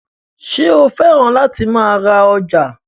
Ṣé o fẹ́ràn láti máa ra ọjà?